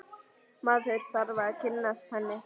Maður þarf að kynnast henni!